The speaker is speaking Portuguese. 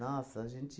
Nossa, a gente...